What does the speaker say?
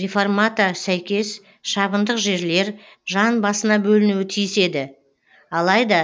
реформата сәйкес шабындық жерлер жан басына бөлінуі тиіс еді алайда